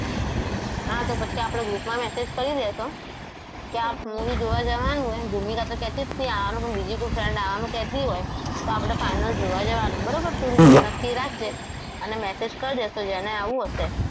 આ તો પછી આપણે group માં message કરી દઈશું કે આ movie જોવા જવાનું છે ભૂમિ આપણને કહેતી જતી આવવાનું પણ બીજી કોઈ friends આવવાનું કહેતી હોય તો આપણે final જોવા જવાનું બરોબર તો તું નક્કી રાખજે અને message કરી દઈશુ જેને આવું હશે